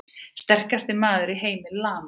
Sterkasti maður í heimi lamaður!